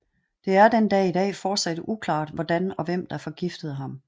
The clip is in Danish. Det er den dag i dag forsat uklart hvordan og hvem der forgiftede ham